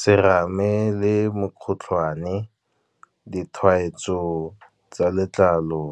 Serame le mokgotlhwane, ditshwaetso tsa letlalo,